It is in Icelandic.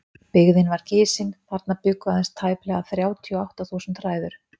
Byggðin var gisin, þarna bjuggu aðeins tæplega þrjátíu og átta þúsund hræður.